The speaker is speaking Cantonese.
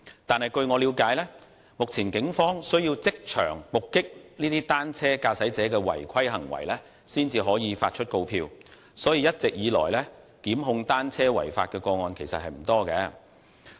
但是，據我了解，目前警方需要即場目擊單車駕駛者的違規行為，才能發出告票，所以，一直以來，檢控單車違法的個案其實不多。